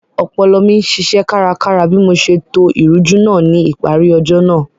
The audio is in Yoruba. Ọpọlọ mi ṣiṣẹ́ kárakára bí mo ṣe to ìrújú náà ní ìparí ọjọ́ náà